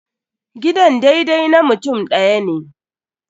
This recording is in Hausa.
Gidan daidai na mutum ɗaya ne.